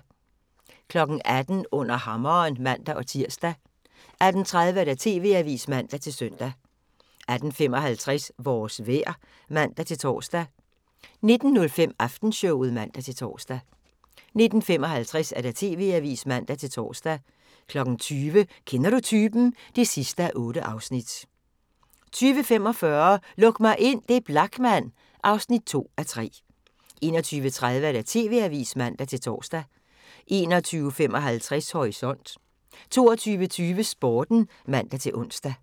18:00: Under hammeren (man-tir) 18:30: TV-avisen (man-søn) 18:55: Vores vejr (man-tor) 19:05: Aftenshowet (man-tor) 19:55: TV-avisen (man-tor) 20:00: Kender du typen? (8:8) 20:45: Luk mig ind – det er Blachman (2:3) 21:30: TV-avisen (man-tor) 21:55: Horisont 22:20: Sporten (man-ons)